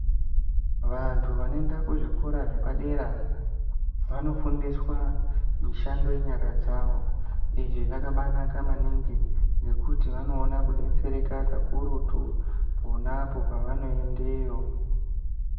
Vantu vanoenda kuzvikora zvepadera, vanofundiswa mishando yenyara dzavo. Izvi zvakabaanaka maningi ngekuti vanoona kudetsereka kakurutu ,pona apo pavanoendeyo.